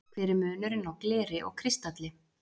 hver er munurinn á gleri og kristalli